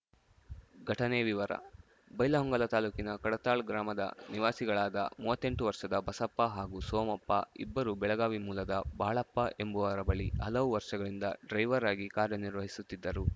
ಘಟನೆ ವಿವರ ಬೈಲಹೊಂಗಲ ತಾಲೂಕಿನ ಕಡತಾಳ್‌ ಗ್ರಾಮದ ನಿವಾಸಿಗಳಾದ ಮೂವತ್ತೆಂಟು ವರ್ಷದ ಬಸಪ್ಪ ಹಾಗೂ ಸೋಮಪ್ಪ ಇಬ್ಬರು ಬೆಳಗಾವಿ ಮೂಲದ ಬಾಳಪ್ಪ ಎಂಬುವರ ಬಳಿ ಹಲವು ವರ್ಷಗಳಿಂದ ಡ್ರೈವರ್‌ ಆಗಿ ಕಾರ್ಯ ನಿರ್ವಹಿಸುತ್ತಿದ್ದರು